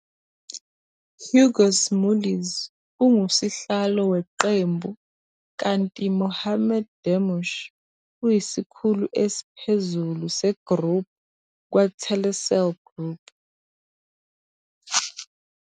Hugues Mulliez unguSihlalo Weqembu kanti Mohamad Damush uyiSikhulu Esiphezulu se-Group kwa-Telecel Group.